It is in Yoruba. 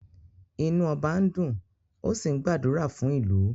Inu oba n dùn, ó sì ń gbàdúrà fún ìlú